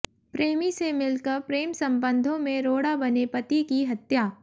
प्रेमी से मिलकर प्रेम संबंधों में रोड़ा बने पति की हत्या